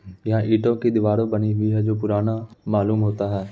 यहाँ ईंटो की दीवारों बनी हुई है जो पुराना मालूम होता है।